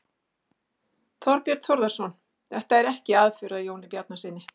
Þorbjörn Þórðarson: Þetta er ekki aðför að Jóni Bjarnasyni?